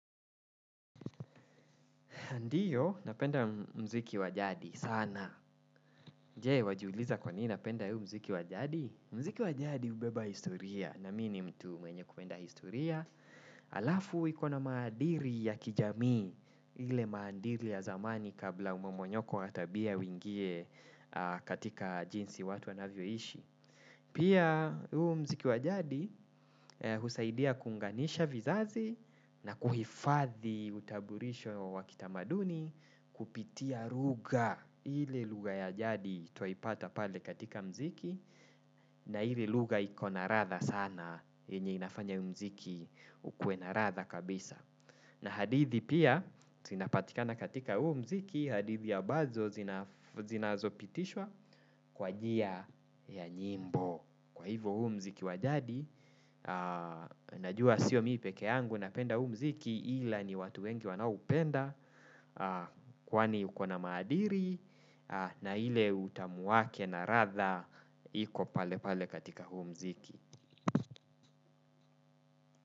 Ndiyo, napenda mziki wajadi. Sana. Je, wajiuliza kwa nini napenda huu mziki wajadi? Mziki wa jadi hubeba historia. Na mi ni mtu mwenye kupenda historia. Alafu, ikona maadili ya kijamii ile maadili ya zamani kabla umomonyoko wa tabia uingie katika jinsi watu wanavyoishi. Pia huu mziki wa jadi husaidia kuunganisha vizazi na kuhifadhi utambulisho wa kitamaduni kupitia lugha ile lugha ya jadi twaipata pale katika mziki na ile lugha ikona ladha sana yenye inafanya huu mziki ukuena ladha kabisa. Na hadithi pia, zinapatikana katika huu mziki, hadithi ambazo zinazopitishwa kwa njia ya nyimbo. Kwa hivo huu mziki wa jadi, najua sio mimi peke yangu napenda huu mziki ila ni watu wengi wanaoupenda, kwani ukona maadili, na ile utamu wake na ladha iko pale pale katika huu mziki.